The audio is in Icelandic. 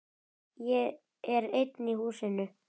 Ég er einn í húsinu.